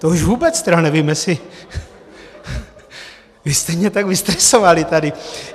To už vůbec tedy nevím, jestli... vy jste mě tak vystresovali tady.